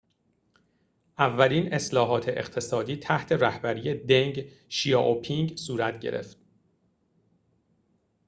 اولین اصلاحات اقتصادی تحت رهبری دنگ شیائوپینگ صورت گرفت